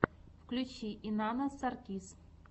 включи инанна саркис